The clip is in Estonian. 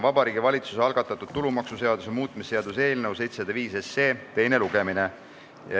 Vabariigi Valitsuse algatatud tulumaksuseaduse muutmise seaduse eelnõu 705 teine lugemine.